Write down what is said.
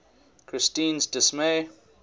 christine s dismay